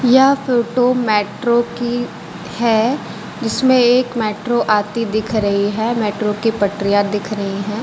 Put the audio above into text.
यह photo metro की है जिसमें एक मेट्रो आती दिख रही है मेट्रो की पटरियां दिख रही है।